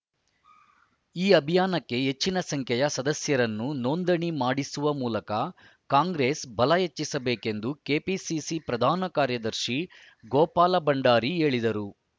ಈ ಅಭಿಯಾನಕ್ಕೆ ಹೆಚ್ಚಿನ ಸಂಖ್ಯೆಯ ಸದಸ್ಯರನ್ನು ನೋಂದಣಿ ಮಾಡಿಸುವ ಮೂಲಕ ಕಾಂಗ್ರೆಸ್‌ ಬಲ ಹೆಚ್ಚಿಸಬೇಕೆಂದು ಕೆಪಿಸಿಸಿ ಪ್ರಧಾನ ಕಾರ್ಯದರ್ಶಿ ಗೋಪಾಲ ಭಂಡಾರಿ ಹೇಳಿದರು